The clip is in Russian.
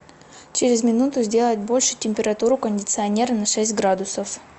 через минуту сделать больше температуру кондиционера на шесть градусов